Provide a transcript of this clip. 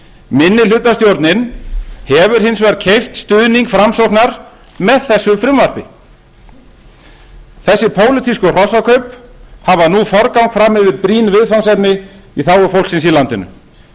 minnihlutastjórnin hefur hins vegar keypt stuðning framsóknar með þessu frumvarpi þessi pólitísku hrossakaup hafa nú forgang fram yfir brýn viðfangsefni í þágu fólksins í landinu